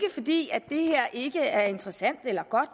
fordi det her ikke er interessant eller godt